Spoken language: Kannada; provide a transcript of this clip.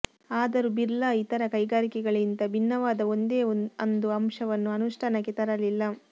ಆದರೂ ಬಿರ್ಲಾ ಇತರ ಕೈಗಾರಿಕೆಗಳಿಗಿಂತ ಭಿನ್ನವಾದ ಒಂದೇ ಅಂದು ಅಂಶವನ್ನೂ ಅನುಷ್ಠಾನಕ್ಕೆ ತರಲಿಲ್ಲ